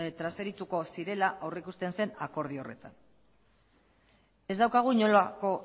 transferituko zirela aurrikusten zen akordio horretan ez daukagu inolako